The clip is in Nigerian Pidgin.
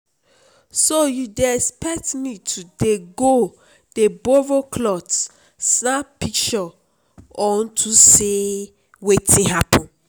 so you dey expect me to dey go dey borrow cloth snap pishure on to say wetin happen?